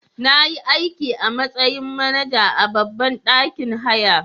Nayi aiki a matsayin manaja a babban ɗakin haya.